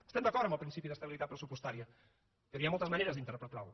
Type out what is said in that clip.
estem d’acord amb el principi d’estabilitat pressupostària però hi ha moltes maneres d’interpretar lo